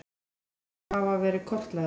Loðnugöngur hafa verið kortlagðar